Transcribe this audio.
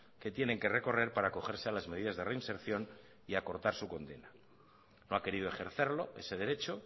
que tienen que recorrer para acogerse a las medidas de reinserción y acortar su condena no ha querido ejercerlo ese derecho